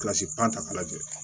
Kilasi pan ta ka na joona